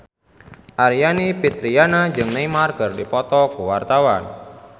Aryani Fitriana jeung Neymar keur dipoto ku wartawan